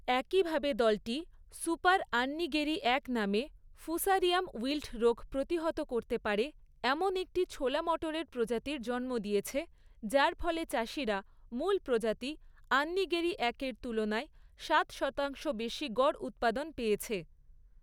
একইভাবে, দলটি ‘সুপার আন্নিগেরি এক’ নামে ফুসারিয়াম উইল্ট রোগ প্রতিহত করতে পারে এমন একটি ছোলা মটরের প্রজাতির জন্ম দিয়েছে যার ফলে চাষীরা মূল প্রজাতি ‘আন্নিগেরি এক' এর তুলনায় সাত শতাংশ বেশী গড় উৎপাদন পেয়েছে।